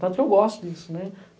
Tanto que eu gosto disso, né?